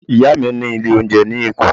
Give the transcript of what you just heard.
Ìyá mi ní ilé oúnjẹ ní Èkó.